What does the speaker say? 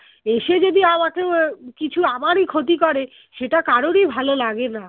এসে যদি আমাকেও কিছু আমারই ক্ষতি করে সেটা কারোরই ভালো লাগে না